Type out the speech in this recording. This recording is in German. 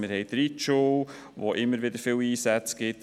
Wir haben die Reitschule, die immer wieder viele Einsätze auslöst.